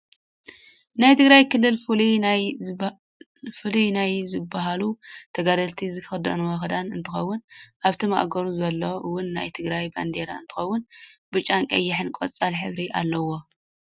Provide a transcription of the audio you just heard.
ናይ ትግራይ ክልል ፍሉይ ናይ ዝብሃሉ ተጋደልቲ ዝክደንዎ ክዳን እንትከውን ኣብቲ ማእገሩ ዘሎ እውን ናይ ትግራይ ባንዴራ እንትከውን ብጫን ቀይሕን ቆፃል ሕብሪ ኣለዎ።